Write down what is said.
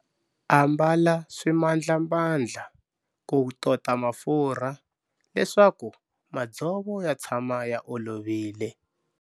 Ambala swimandlamandla ku tota mafurha leswaku madzovo ya tshama ya olovile.